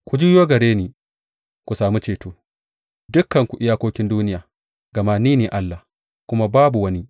Ku juyo gare ni ku sami ceto, dukanku iyakokin duniya; gama ni ne Allah, kuma babu wani.